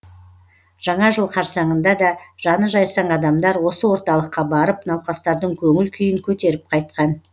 жаңа жыл қарсаңында да жаны жайсаң адамдар осы орталыққа барып науқастардың көңіл күйін көтеріп қайтқан